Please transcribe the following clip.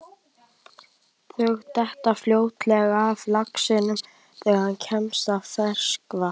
Þau detta fljótlega af laxinum þegar hann kemst í ferskvatn.